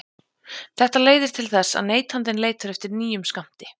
Þetta leiðir til þess að neytandinn leitar eftir nýjum skammti.